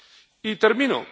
Y termino.